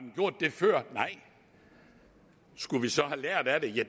før nej skulle vi så have lært af det ja